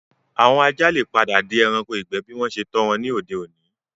Àwọn ajá le padà di ẹranko ìgbẹ́ bí wọ́n ṣe tọ́ wọn ní òde-òní